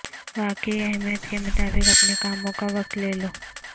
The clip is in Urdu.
واقعی اہمیت کے مطابق اپنے کاموں کا وقت لے لو